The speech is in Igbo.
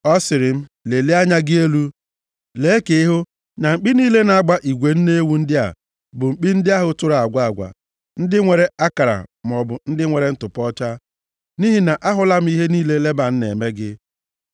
Ọ sịrị m, ‘Lelie anya gị elu, lee ka ị hụ na mkpi niile na-agba igwe nne ewu ndị a bụ mkpi ndị ahụ tụrụ agwa agwa, ndị nwere akara maọbụ ndị nwere ntụpọ ọcha. Nʼihi na ahụla m ihe niile Leban na-eme gị.